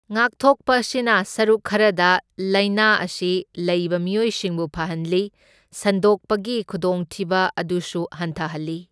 ꯉꯥꯛꯊꯣꯛꯄ ꯑꯁꯤꯅ ꯁꯔꯨꯛ ꯈꯔꯗ ꯂꯥꯏꯅꯥ ꯑꯁꯤ ꯂꯩꯕ ꯃꯤꯑꯣꯏꯁꯤꯡꯕꯨ ꯐꯍꯟꯂꯤ, ꯁꯟꯗꯣꯛꯄꯒꯤ ꯈꯨꯗꯣꯡꯊꯤꯕ ꯑꯗꯨꯁꯨ ꯍꯟꯊꯍꯜꯂꯤ꯫